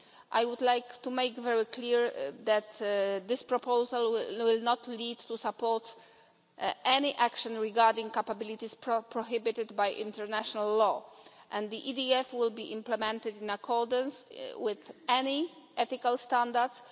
I would like to make it very clear that this proposal will not lead to support for any action regarding capabilities prohibited by international law, and the EDF will be implemented in accordance with any ethical standards.